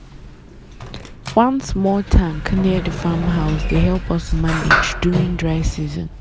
one small tank near the farm house dey help us manage during dry season.